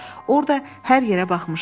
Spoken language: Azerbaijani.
Orda hər yerə baxmışam.